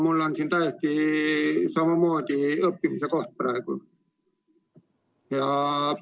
Minu jaoks on see samamoodi õppimise koht praegu.